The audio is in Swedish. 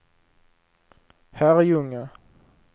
Herrljunga